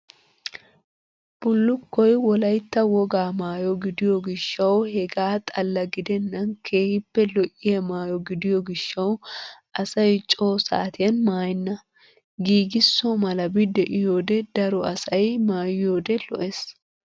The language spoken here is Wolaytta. Bullukkoy wolaytta wogaa maayo gidiyoo gishshawu hegaa xalla gidennan keehippe lo"iyaa maayo gidiyo gishshawu asay coo saatiyan maayenna. Giigisso malabi de"iyoodee daro asay maayiyoodee lo'ees.